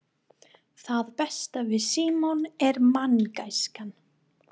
Það besta við Símon er manngæskan.